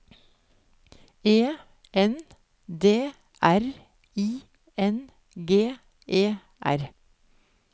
E N D R I N G E R